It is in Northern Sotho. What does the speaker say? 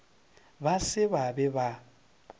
ba se ba be ba